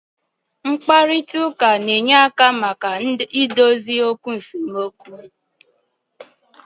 Mkparịta ụka na-enye aka maka idozi esemokwu